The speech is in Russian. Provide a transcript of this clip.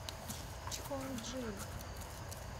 чхонджин